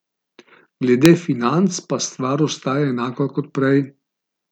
Glede financ pa stvar ostaja enaka kot prej.